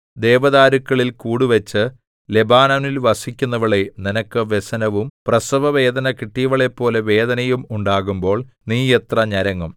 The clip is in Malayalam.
ദേവദാരുക്കളിൽ കൂടുവച്ച് ലെബാനോനിൽ വസിക്കുന്നവളേ നിനക്ക് വ്യസനവും പ്രസവവേദന കിട്ടിയവളെപ്പോലെ വേദനയും ഉണ്ടാകുമ്പോൾ നീ എത്ര ഞരങ്ങും